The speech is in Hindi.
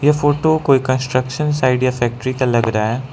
यह फोटो कोई कंस्ट्रक्शन साइट या फैक्ट्री का लग रहा है।